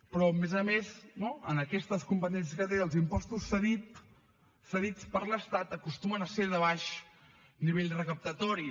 però a més a més no en aquestes competències que té els impostos cedits per l’estat acostumen a ser de baix nivell recaptatori